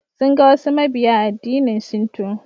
Sun ga wasu mabiya addinin shinto.